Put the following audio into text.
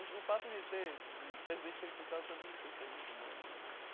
O o fato de ter, de presidentes terem cursado também não sei se é muito bom não, né?